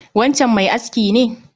Wancan mai aski ne?